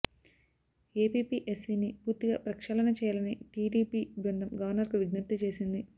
ఏపీపీఎస్సీని పూర్తిగా ప్రక్షాళన చేయాలని టీడీపీ బృందం గవర్నకు విజ్ఞప్తి చేసింది